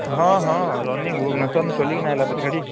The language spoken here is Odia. ହଁ ହଁ running ଭୁବନେଶ୍ୱର ନୁ ଚଲେଇ କିନା ଆଇଲା ପରା ଗାଡି